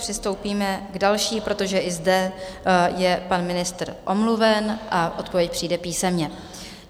Přistoupíme k další, protože i zde je pan ministr omluven, a odpověď přijde písemně.